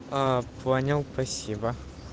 а понял спасибо